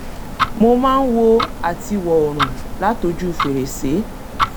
mo máa ń wo àtiwò́ oòrùn látojú fèrèsé